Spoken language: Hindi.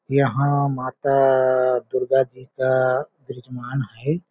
यहाँ माता दुर्गा जी का बृजमान है।